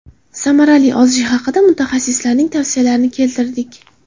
Samarali ozish haqida mutaxassislarning tavsiyalarini keltirdik.